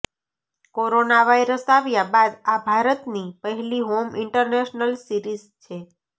corona virus આવ્યા બાદ આ ભારતની પહેલી હોમ ઇન્ટરનેશનલ સિરીઝ છે